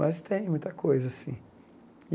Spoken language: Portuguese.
Mas tem muita coisa assim.